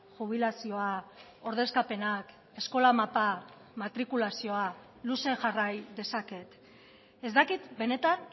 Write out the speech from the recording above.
jubilazioa ordezkapenak eskola mapa matrikulazioa luze jarrai dezaket ez dakit benetan